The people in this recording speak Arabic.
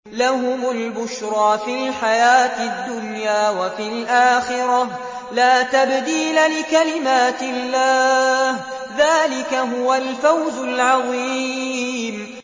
لَهُمُ الْبُشْرَىٰ فِي الْحَيَاةِ الدُّنْيَا وَفِي الْآخِرَةِ ۚ لَا تَبْدِيلَ لِكَلِمَاتِ اللَّهِ ۚ ذَٰلِكَ هُوَ الْفَوْزُ الْعَظِيمُ